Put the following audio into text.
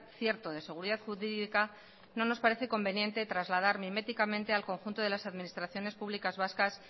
cierto de seguridad jurídica no nos parece conveniente trasladar miméticamente al conjunto de las administraciones públicas vascas